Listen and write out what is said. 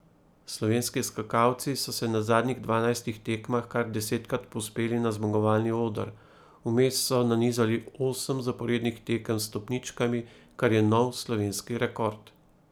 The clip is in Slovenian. Slovenski skakalci so se na zadnjih dvanajstih tekmah kar desetkrat povzpeli na zmagovalni oder, vmes so nanizali osem zaporednih tekem s stopničkami, kar je nov slovenski rekord.